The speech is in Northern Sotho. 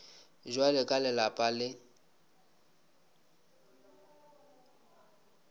bja ka le lapa le